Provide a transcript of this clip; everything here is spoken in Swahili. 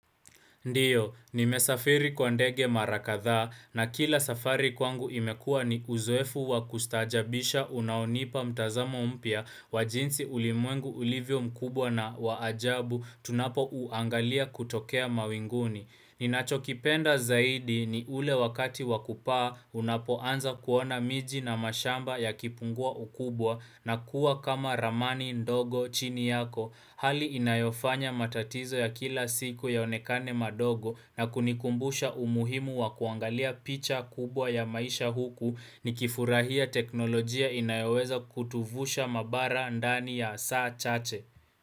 Ndio, nimesafiri kwa ndege mara kadhaa na kila safari kwangu imekua ni uzoefu wa kustaajabisha unaonipa mtazamo mpya wa jinsi ulimwengu ulivyo mkubwa na wa ajabu tunapouangalia kutokea mawinguni. Ninachokipenda zaidi ni ule wakati wakupaa unapoanza kuona miji na mashamba yakipungua ukubwa na kuwa kama ramani ndogo chini yako, hali inayofanya matatizo ya kila siku yaonekane madogo na kunikumbusha umuhimu wa kuangalia picha kubwa ya maisha huku nikifurahia teknolojia inayoweza kutuvusha mabara ndani ya saa chache.